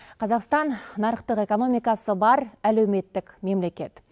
қазақстан нарықтық экономикасы бар әлеуметтік мемлекет